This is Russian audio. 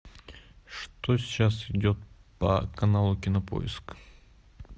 что сейчас идет по каналу кинопоиск